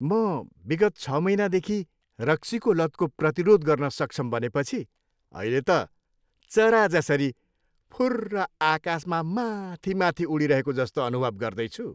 म विगत छ महिनादेखि रक्सीको लतको प्रतिरोध गर्न सक्षम बनेपछि अहिले त चरा जसरी फुर्रर आकाशमा माथि माथि उडिरहेको जस्तो अनुभव गर्दैछु।